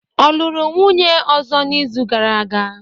Ọ lụrụ nwunye ọzọ n'izu gara aga?